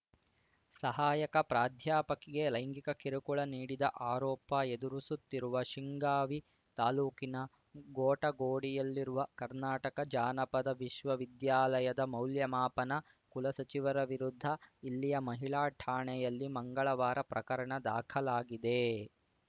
ಸಹಾಯಕ ಪ್ರಾಧ್ಯಾಪಕಿಗೆ ಲೈಂಗಿಕ ಕಿರುಕುಳ ನೀಡಿದ ಆರೋಪ ಎದುರು ಸುತ್ತಿರುವ ಶಿಗ್ಗಾಂವಿ ತಾಲೂಕಿನ ಗೊಟಗೋಡಿಯಲ್ಲಿರುವ ಕರ್ನಾಟಕ ಜಾನಪದ ವಿಶ್ವವಿದ್ಯಾಲಯದ ಮೌಲ್ಯಮಾಪನ ಕುಲಸಚಿವರ ವಿರುದ್ಧ ಇಲ್ಲಿಯ ಮಹಿಳಾ ಠಾಣೆಯಲ್ಲಿ ಮಂಗಳವಾರ ಪ್ರಕರಣ ದಾಖಲಾಗಿದೆ